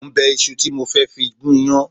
Mo ń bẹ iṣu tí mo fẹ́ fi gún iyán